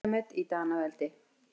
Kuldamet í Danaveldi